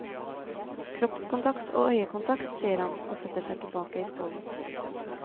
Kroppskontakt og øyekontakt, sier han og setter seg tilbake i stolen.